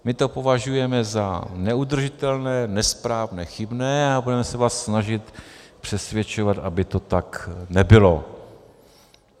My to považujeme za neudržitelné, nesprávné, chybné a budeme se vás snažit přesvědčovat, aby to tak nebylo.